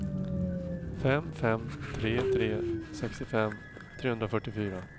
fem fem tre tre sextiofem trehundrafyrtiofyra